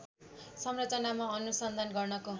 संरचनामा अनुसन्धान गर्नको